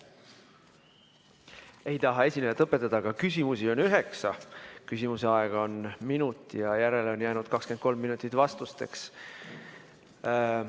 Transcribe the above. Ei taha esinejat õpetada, aga küsimusi on üheksa, küsimise aega on minut ja järele on jäänud 23 minutit vastusteks.